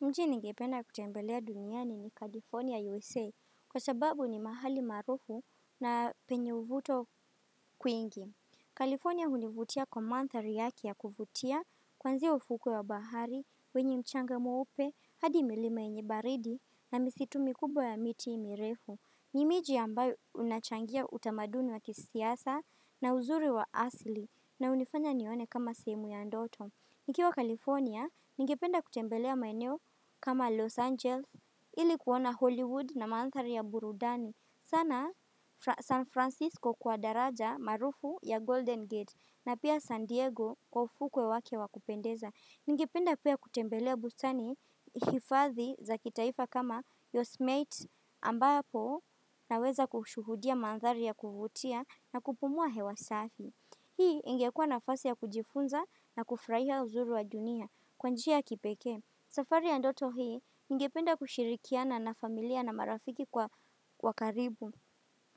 Nchi ningependa kutembelea duniani ni California USA, kwa sababu ni mahali maarufu na penye uvuto kwingi. California hunivutia kwa mandhari yake ya kufutia, kwanzia ufuko ya bahari, wenye mchanga mweupe, hadi milima yenye baridi na misitu mikubwa ya miti mirefu. Ni miji ambayo unachangia utamaduni wa kisasa na uzuri wa asli na hunifanya nione kama simu ya ndoto. Nikiwa California, ningependa kutembelea maeneo kama "Los Angeles" ili kuona "Hollywood" na mandhari ya burudani. Sana San Francisco kwa daraja maarufu ya Golden Gate, na pia San Diego kwa ufuko wake wakupendeza. Ningependa pia kutembelea bustani hifathi za kitaifa kama Yosmate ambapo naweza kushuhudia manthari ya kuvutia na kupumua hewa safi. Hii ingekua nafasi ya kujifunza, na kufurahia uzuri wa dunia kwa njia ya kipekee. Safari ya ndoto hii, ningependa kushirikiana na familia na marafiki wa karibu.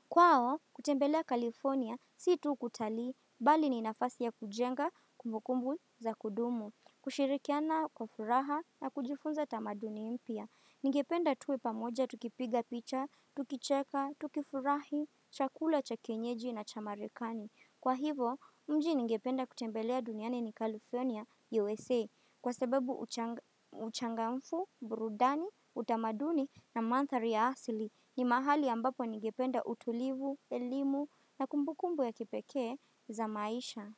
Kwao, kutembelea California, si tu kutalii bali ni nafasi ya kujenga kumbukumbu za kudumu. Kushirikiana kwa furaha na kujifunza tamaduni mpya. Ningependa tuwe pamoja tukipiga picha, tukicheka, tukifurahi, chakula cha kienyeji na cha Marekani. Kwa hivo, mji ningependa kutembelea duniani ni California USA, kwa sababu uchangamfu, burudani, utamaduni na manthari ya asili ni mahali ambapo ningependa utulivu, elimu na kumbukumbu ya kipekee za maisha.